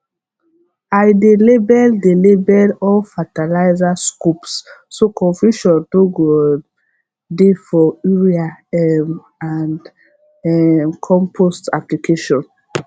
i dey label dey label all fertilizer scoops so confusion no go um dey for urea um and um compost application